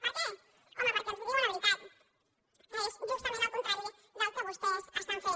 per què home perquè els diuen la veritat que és justament el contrari del que vostès estan fent